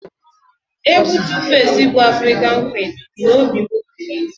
Egwu Tu-face bu Afrịkan Quin bi n'obi m mgbe niile